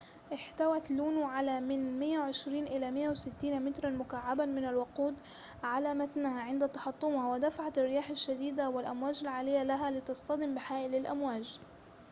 احتوت لونو على من 120 إلى 160 متراً مكعّباً من الوقود على متنها عند تحطمها ودفع الرياح الشديدة والأمواج العالية لها لتصطدم بحائل الأمواج